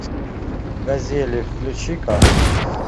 газели включи ка